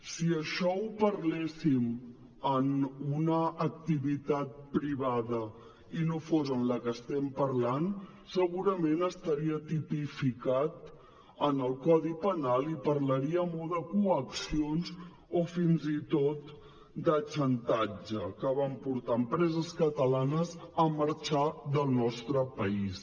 si això ho parléssim en una activitat privada i no fos en la que estem parlant segurament estaria tipificat en el codi penal i parlaríem o de coaccions o fins i tot de xantatge que van portar empreses catalanes a marxar del nostre país